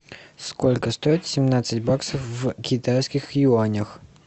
сколько стоит семнадцать баксов в китайских юанях